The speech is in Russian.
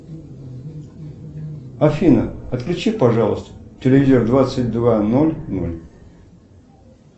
афина отключи пожалуйста телевизор двадцать два ноль ноль